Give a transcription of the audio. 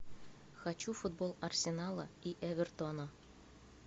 хочу футбол арсенала и эвертона